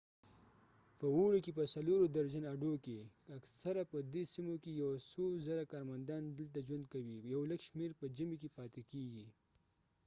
په اوړې کې په څلورو درجن اډو کې اکثره په دې سیمو کې یو څو زره کارمندان دلته ژوند کوي یو لږ شمیر په ژمي کې پاتې کیږئ